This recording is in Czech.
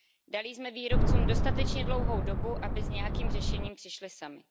Dali jsme výrobcům dostatečně dlouhou dobu, aby s nějakým řešením přišli sami.